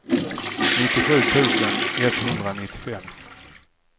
nittiosju tusen etthundranittiofem